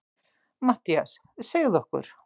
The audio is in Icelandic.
MATTHÍAS: Segðu okkur.